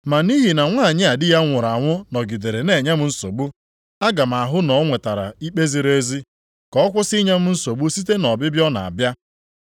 Ma nʼihi na nwanyị a di ya nwụrụ anwụ nọgidere na-enye m nsogbu, aga m ahụ na o nwetara ikpe ziri ezi, ka ọ kwụsị inye m nsogbu site na ọbịbịa ọ na-abịa.’ ”